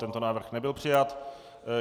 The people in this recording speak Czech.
Tento návrh nebyl přijat.